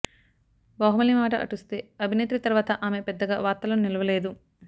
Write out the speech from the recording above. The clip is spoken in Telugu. బాహుబలి మాట అటుస్తే అభినేత్రి తర్వాత ఆమె పెద్దగా వార్తల్లో నిలవలేదు